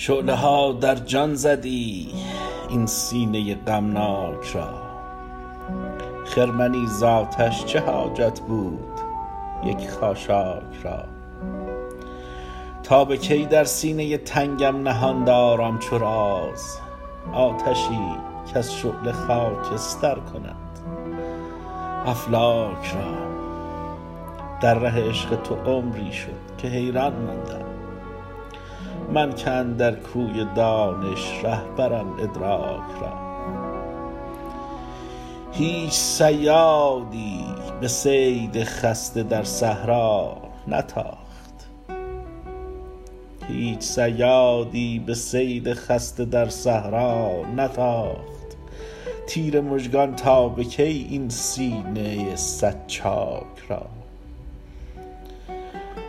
شعله ها در جان زدی این سینه غمناک را خرمنی ز آتش چه حاجت بود یک خاشاک را تا بکی در سینه تنگم نهان دارم چو راز آتشی کز شعله خاکستر کند افلاک را در ره عشق تو عمری شد که حیران مانده ام من که اندر کوی دانش رهبرم ادراک را هیچ صیادی به صید خسته در صحرا نتاخت تیر مژگان تا به کی این سینه صد چاک را